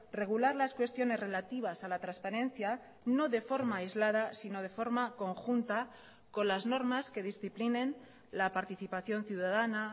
regular las cuestiones relativas a la transparencia no de forma aislada sino de forma conjunta con las normas que disciplinen la participación ciudadana